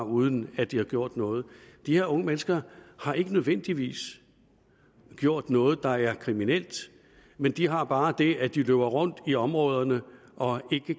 uden at de har gjort noget de her unge mennesker har ikke nødvendigvis gjort noget der er kriminelt men de har bare det at de løber rundt i områderne og